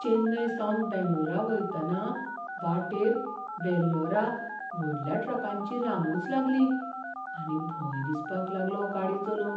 चेन्नयसावन बेंगळूरा वयतना वाटेर वेल्लोरा व्हडल्या ट्रकांची रांगूच लागली आनी भंय दिसपाक लागलो गाडी चलोवंक.